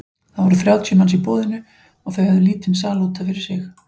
Það voru þrjátíu manns í boðinu og þau höfðu lítinn sal út af fyrir sig.